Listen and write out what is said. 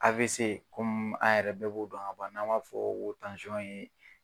AVC komi a yɛrɛ bɛɛ b'o dɔn ka ban n'an b'a fɔ o ma tansɔn ye